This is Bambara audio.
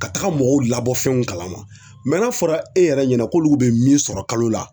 Ka taga mɔgɔw labɔ fɛnw kalama n'a fɔra e yɛrɛ ɲɛna k'olu bɛ min sɔrɔ kalo la.